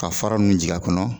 Ka fara ninnu jigin a kɔnɔ